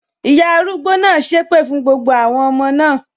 Ìyá arúgbó náà sépè fún gbogbo àwọn ọmọ náà